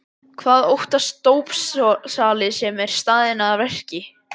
Hvað óttast dópsali sem staðinn er að verki?